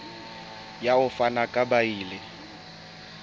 ya ho fana ka beile